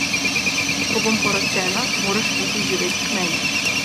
Ko bom poročena, moraš priti živet k meni.